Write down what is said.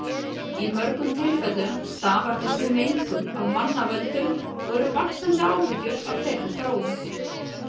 Í mörgum tilfellum stafar þessi mengun af mannavöldum og eru vaxandi áhyggjur af þeirri þróun.